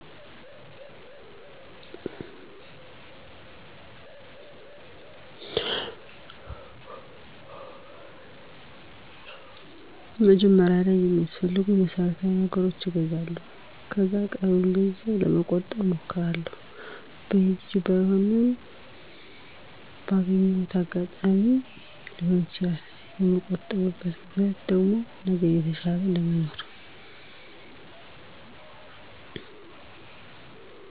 መጀመሪያ ላይ የሚያስፈልጉኝን መሠረታዊ ነገሮች እገዛለሁ ከዛ ቀሪውን ገንዘብ ለመቆጠብ እሞክራለሁ። በየጊዜው ባይሆንም በአገየሁት አጋጣሚ ሊሆን ይችላል። የምቆጥብበት ምክንያት ደግሞ ነገን የተሻለ ለመኖር